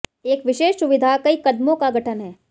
एक विशेष सुविधा कई कदमों का गठन है